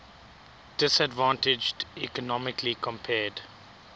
disadvantaged economically compared